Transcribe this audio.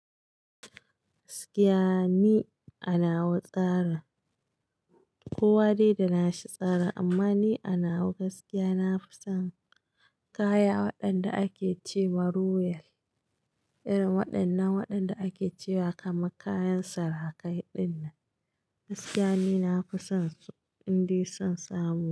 Gaskiya ni anawa tsarin. Kowa dai da nashi tsarin amma ni anawa gaskiya na fi son kaya waɗanda ake ce ma royal. Irin waɗannan waɗanda ake cewa kamar kayan sarakai ɗin nan. Gaskiya ni na fi son su, in dai san samu.